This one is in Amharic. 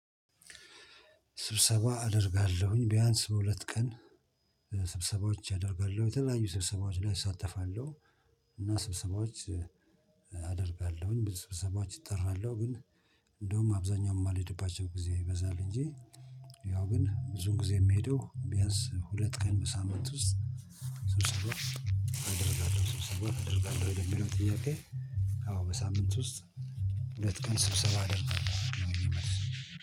ስብሰባ አደርጋለሁኝ ቢያንስ በሁለት ቀን ስብሰባዎች አደርጋለሁ የተለያዩ ስብሰባዎች ላይ እሳተፋለሁ። እና ስብሰባዎች። አደርጋለሁኝ ብዙ ስብሰባዎች እጠራለሁ ግን እንደውም አብዛኛው የማልሄድባቸው ጊዜ ይበዛል እንጂ። ያው ግን ብዙን ጊዜ የምሄደው ቢያንስ ሁለት ቀን በሳምንት ውስጥ። ስብሰባ አደርጋለሁ ስብሰባ አደርጋለሁ ወይ ለየሚለው ጥያቄ? አዎ በሳምንት ውስጥ ሁለት ቀን ስብሰባ አደርጋለሁ ነው። የኔ መልስ